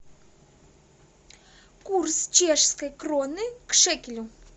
курс чешской кроны к шекелю